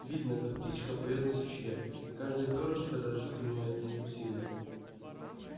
видно как птичка поёт на сучке и каждое пёрышко дрожит у нее от усилия